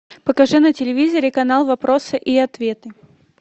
покажи на телевизоре канал вопросы и ответы